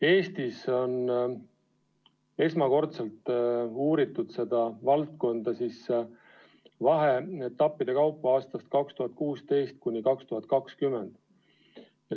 Eestis on esmakordselt uuritud seda valdkonda vaheetappide kaupa aastail 2016–2020.